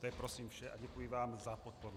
To je prosím vše a děkuji vám za podporu.